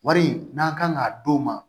Wari in n'an kan ka d'o ma